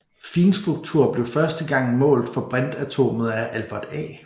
Finstruktur blev første gang målt for brintatomet af Albert A